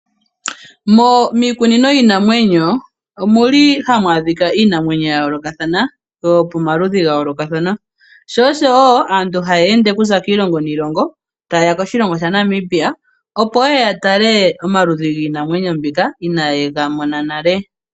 Miikunino yiinamwenyo omu li hamu adhika iinamwenyo ya yoolokathana, yo pamaludhi ga yoolokathana. Sho oshowo aantu haya ende okuza kiilongo niilongo taye ya koshilongo sha Namibia opo ye ya tale omaludhi giinamwenyo mbika inaaye ga mona nale.